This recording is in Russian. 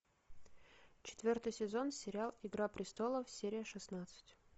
четвертый сезон сериал игра престолов серия шестнадцать